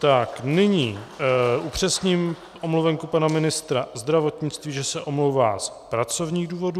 Tak nyní upřesním omluvenku pana ministra zdravotnictví, že se omlouvá z pracovních důvodů.